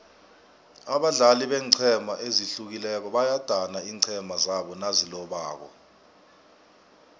abadlali beenqhema ezihlukileko bayadana iinqhema zabo nazilobako